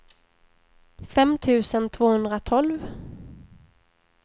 fem tusen tvåhundratolv